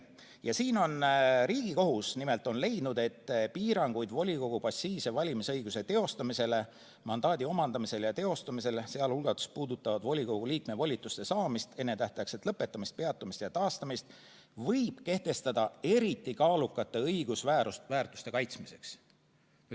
Riigikohus on leidnud, et piiranguid volikogu passiivse valimisõiguse teostamisele, mandaadi omandamisele ja teostamisele, sealhulgas volikogu liikme volituste saamisele, ennetähtaegsele lõpetamisele, peatamisele ja taastamisele võib kehtestada eriti kaalukate õigusväärtuste kaitsmiseks.